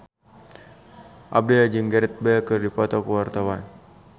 Abdel jeung Gareth Bale keur dipoto ku wartawan